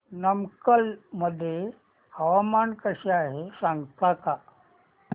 नमक्कल मध्ये हवामान कसे आहे सांगता का